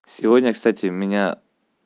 сегодня кстати меня